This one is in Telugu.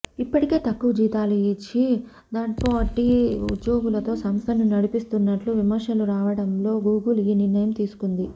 ఇప్పటికే తక్కువ జీతాలు ఇచ్చి థర్డ్పార్టీ ఉద్యోగులతో సంస్థను నడిపిస్తున్నట్లు విమర్శలు రావడంతో గూగుల్ ఈ నిర్ణయం తీసుకొంది